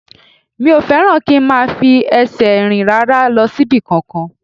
Mi ò fẹ́ràn kí n máa fi ẹsẹ̀ rìn rárá lọ síbì kan